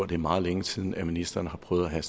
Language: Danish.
det er meget længe siden at ministeren har prøvet at have